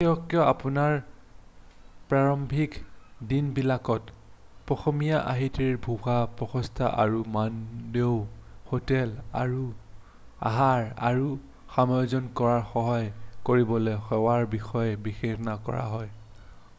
বিশেষকৈ আপোনাৰ প্ৰাৰম্ভিক দিনবিলাকত পশ্চিমীয়া-আৰ্হিৰ ভুৱা প্ৰচেষ্টা আৰু মানদণ্ডৰ হোটেল আহাৰ আৰু সমাযোজন কৰাত সহায় কৰিবলৈ সেৱাৰ বিষয়ে বিবেচনা কৰা হয়